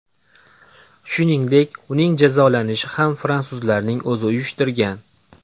Shuningdek, uning jazolanishini ham fransuzlarning o‘zi uyushtirgan.